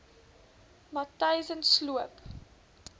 matyzensloop